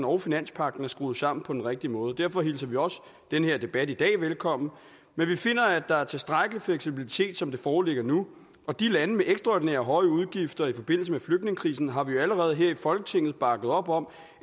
og finanspagten er skruet sammen på den rigtige måde og derfor hilser vi også den her debat i dag velkommen men vi finder at der er tilstrækkelig fleksibilitet som det foreligger nu og de lande med ekstraordinært høje udgifter i forbindelse med flygtningekrisen har vi jo allerede her i folketinget bakket op om